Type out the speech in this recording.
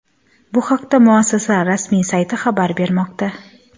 Bu haqda muassasa rasmiy sayti xabar bermoqda .